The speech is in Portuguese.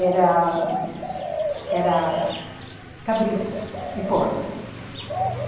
era...era... cabritos e porcos, uhum.